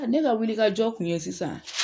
Ne ka wili ka jɔ kun ye sisan,